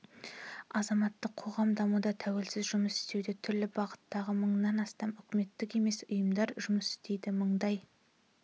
азаматтық қоғам дамуда тәуелсіз жұмыс істеуде түрлі бағыттағы мыңнан астам үкіметтік емес ұйымдар жұмыс істейді мыңдай